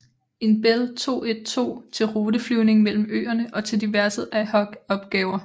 En Bell 212 til ruteflyvning mellem øerne og til diverse ad hoc opgaver